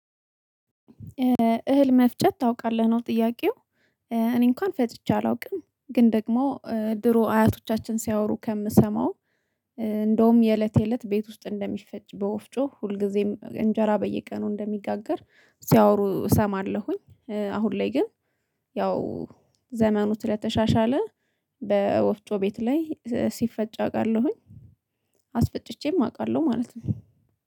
እህል መፍቸት ታውቃለህ ነው ጥያቄው። እኔ እንኳን ፈጭቼ አላውቅም። ግን ደግሞ ድሮ አያቶቻችን ሲያወሩ ከምሰማው። እንደውም የእለት የእለት ቤት ውስጥ እንደሚፈጭ በወፍጮ ሁልጊዜም እንጀራ በየቀኑ እንደሚጋገር ሲያወሩ እሰማለሁኝ። አሁን ላይ ግን ያው ዘመኑ ስለተሻሻለ በወፍጮ ቤት ላይ ሲፈጭ አውቃለሁኝ። አስፈጭቼም አውቃለሁ ማለት ነው